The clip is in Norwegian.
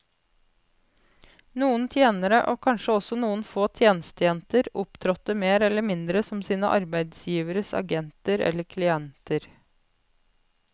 Noen tjenere, og kanskje også noen få tjenestejenter, opptrådte mer eller mindre som sine arbeidsgiveres agenter eller klienter.